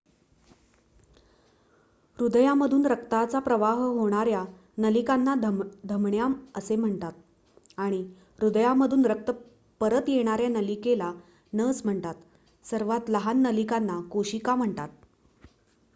हृदयामधून रक्ताचा प्रवाह होणार्‍या नलिकांना धमन्या असे म्हणतात आणि हृदयामधून रक्त परत येणार्‍या नलिकेला नस म्हणतात सर्वात लहान नलिकांना केशिका म्हणतात